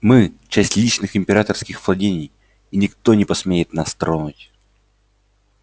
мы часть личных императорских владений и никто не посмеет нас тронуть